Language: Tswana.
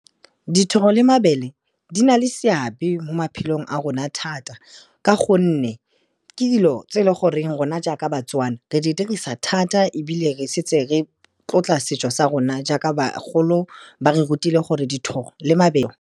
Dithobo le mabele di na le seabe mo maphelong a rona thata ka gonne, ke dilo tse e le goreng rona jaaka baTswana, re di dirisa thata ebile re setse re tlotla setso sa rona jaaka bagolo ba re rutile gore dithoro le mabele.